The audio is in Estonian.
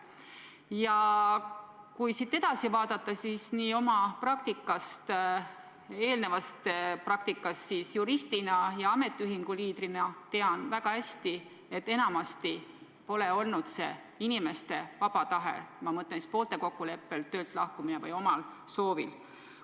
Ja kui siit edasi vaadata, siis oma eelnevast praktikast juristina ja ametiühingu liidrina tean väga hästi, et enamasti pole see olnud inimeste vaba tahe – ma mõtlen siis poolte kokkuleppel või omal soovil töölt lahkumist.